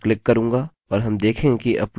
चलिए मेरी फाइल जाँचते हैं